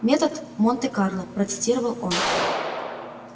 метод монте-карло процитировал он